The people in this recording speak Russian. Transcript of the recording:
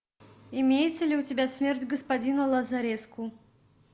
имеется ли у тебя смерть господина лазареску